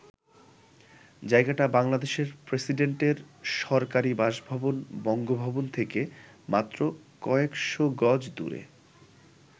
জায়গাটা বাংলাদেশের প্রেসিডেন্টের সরকারি বাসভবন বঙ্গভবন থেকে মাত্র কয়েকশ গজ দূরে।